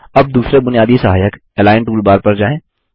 अब दूसरे बुनियादी सहायक Align टूलबार पर जाएँ